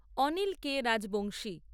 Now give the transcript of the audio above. Anil K Rajbanshi